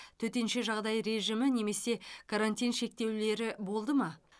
төтенше жағдай режимі немесе карантин шектеулері болды ма